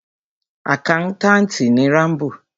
Àkántàntì ni Rámbò.